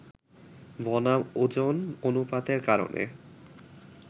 বনাম ওজন অনুপাতের কারণে